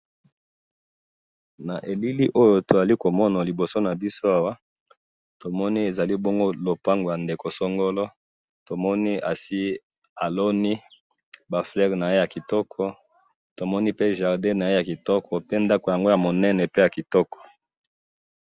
Awa to moni ndako ya ndeko songolo, eza munene pe kitoko, aloni ba fleurs na jardin na ye.